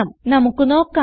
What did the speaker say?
നമുക്ക് നോക്കാം